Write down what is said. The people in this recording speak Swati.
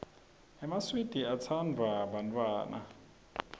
emaswidi atsanduwa bantfwana